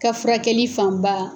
Ka furakɛli fanba